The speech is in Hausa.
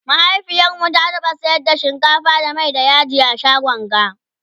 mahaifiyarmu ta taɓa sayar da shinkafa da Mai da yaji a shagon ga